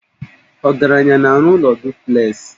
Ọgaranya na-arụ ụlọ duplexị